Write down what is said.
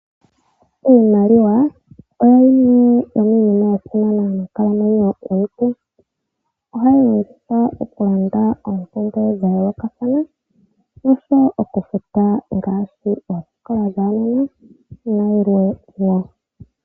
Iimaliwa oyo yimwe yomiinima ya simana moonkalamwenyo yomuntu. Ohayi longithwa oku landa oompumbwe dha yoolokathana nosho wo oku futa oosikola dhuunona nayilwe wo.